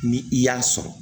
Ni i y'a sɔrɔ